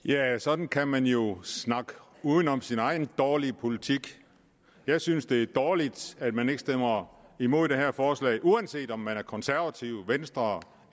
sådan kan man jo snakke uden om sin egen dårlige politik jeg synes det er dårligt at man ikke stemmer imod det her forslag uanset om man konservative venstre